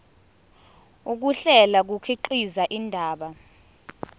ukuhlela kukhiqiza indaba